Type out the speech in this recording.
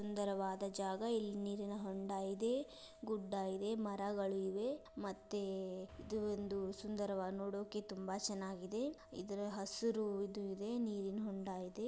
ಇದು ಒಂದು ಸುಂದರವಾದ ಜಾಗ ಇಲ್ಲಿ ನೀರಿನ ಹೊಂಡ ಇದೆ ಗುಡ್ಡ ಇದೆ ಮರಗಳು ಇವೆ ಮತ್ತೆ ಇದು ಒಂದು ಸುಂದರವಾದ ನೋಡಕ್ಕೆತುಂಬಾ ಚೆನ್ನಾಗಿದೆ ಇದು ಹಸ್ರು ಇದೆ ನೀರಿನ ಹೋಂಡಾ ಇದೆ.